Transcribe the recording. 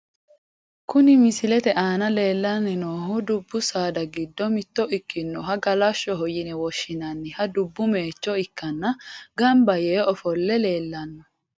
Kuni misilete aana lellanni noohu dubbu saada giddo mitto ikkinohu galashshoho yine woshshinanni dubbu moicho ikkanna , gamba yee ofo'le leellanno.